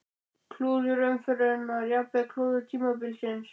Klúður umferðarinnar: Jafnvel klúður tímabilsins?